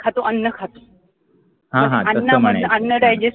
खातो अन्न खातो अन्नामधलं अन्न